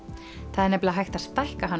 það er nefnilega hægt að stækka hann